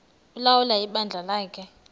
ulawula ibandla lakhe